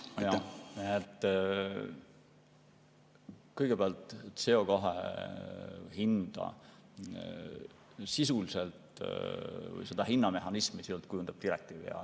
Kõigepealt, CO2 hinda, seda hinnamehhanismi kujundab direktiiv.